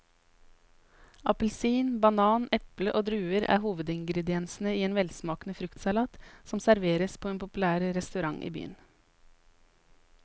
Appelsin, banan, eple og druer er hovedingredienser i en velsmakende fruktsalat som serveres på en populær restaurant i byen.